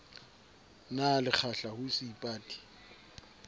na le kgahla ho seipati